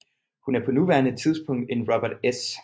Hun er på nuværende tidspunkt en Robert S